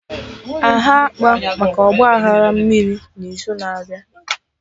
Aha akpa maka Ọgba aghara mmiri n'izu na-abịa